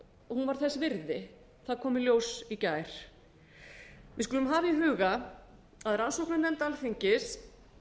þess virði það kom í ljós í gær við skulum hafa í huga að rannsóknarnefnd alþingis